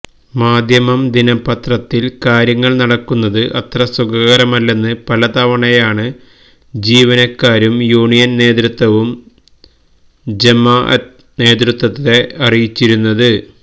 മാധ്യമം ദിനപത്രത്തില് കാര്യങ്ങള് നടക്കുന്നത് അത്ര സുഖകരമല്ലെന്ന് പലതവണയാണ് ജീവനക്കാരും യൂണിയന് നേതൃത്വവും ജമാഅത്ത് നേതൃത്വത്തെ അറിയിച്ചിരുന്നത്